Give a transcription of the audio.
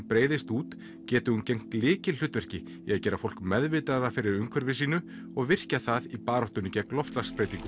breiðist út geti hún gegnt lykilhlutverki í að gera fólk meðvitaðra fyrir umverfi sínu og virkjað það í baráttunni gegn loftslagsbreytingum